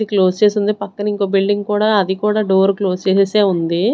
Close చేసి ఉంది పక్కన ఇంకో బిల్డింగ్ కూడా అది కూడా డోర్ క్లోస్ చేసేసి ఉంది.